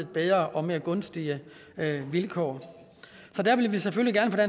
bedre og mere gunstige vilkår så der vil vi selvfølgelig gerne